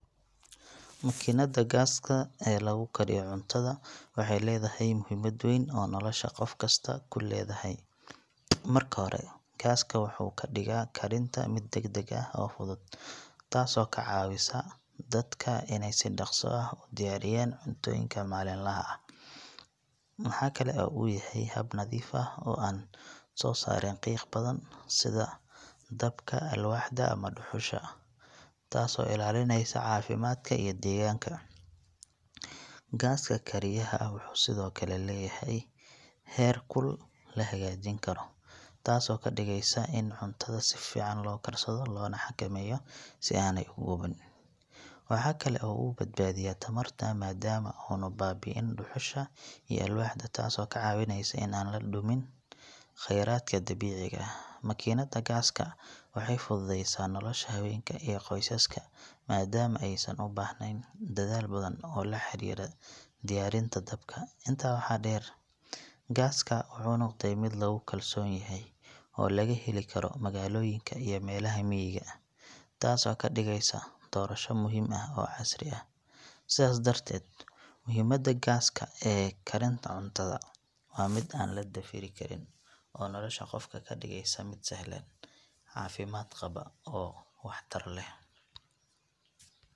Makiinadda gaaska ee lagu kariyo cuntada waxay leedahay muhiimad weyn oo nolosha qof kasta ku leedahay. Marka hore, gaaska wuxuu ka dhigayaa karinta mid degdeg ah oo fudud, taasoo ka caawisa dadka inay si dhaqso ah u diyaariyaan cuntooyinka maalinlaha ah. Waxa kale oo uu yahay hab nadiif ah oo aan soo saarin qiiq badan sida dabka alwaaxda ama dhuxusha, taasoo ilaalinaysa caafimaadka iyo deegaanka. Gaaska kariyaha wuxuu sidoo kale leeyahay heer kul la hagaajin karo, taasoo ka dhigaysa in cuntada si fiican loo karsado loona xakameeyo si aanay u gubin. Waxaa kale oo uu badbaadiyaa tamarta maadaama aanu baabi’inin dhuxusha iyo alwaaxda taasoo ka caawinaysa in aan la dhumin khayraadka dabiiciga ah. Makiinadda gaaska waxay fududaysaa nolosha haweenka iyo qoysaska maadaama aysan u baahnayn dadaal badan oo la xiriira diyaarinta dabka. Intaa waxaa dheer, gaaska wuxuu noqday mid lagu kalsoon yahay oo laga heli karo magaalooyinka iyo meelaha miyiga, taasoo ka dhigaysa doorasho muhiim ah oo casri ah. Sidaas darteed, muhiimadda gaaska ee karinta cuntada waa mid aan la dafiri karin oo nolosha qofka ka dhigaysa mid sahlan, caafimaad qaba oo waxtar leh.